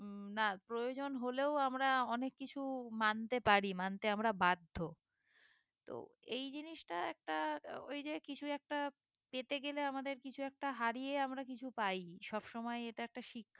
না প্রয়োজন হলেও আমরা অনেক কিছু মানতে পারি মানতে আমরা বাধ্য তো এই জিনিসটা একটা ওই যে কিছু একটা পেতে গেলে আমাদের কিছু একটা হারিয়ে আমরা কিছু পাই সব সময়ে এটা একটা শিক্ষা